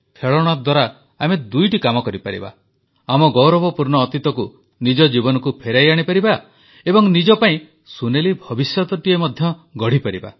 ଖେଳଣା ଦ୍ୱାରା ଆମେ ଦୁଇଟି କାମ କରିପାରିବା ଆମ ଗୌରବପୂର୍ଣ୍ଣ ଅତୀତକୁ ନିଜ ଜୀବନକୁ ଫେରାଇ ଆଣିପାରିବା ଏବଂ ନିଜ ପାଇଁ ସୁନେଲି ଭବିଷ୍ୟତଟିଏ ମଧ୍ୟ ଗଢ଼ିପାରିବା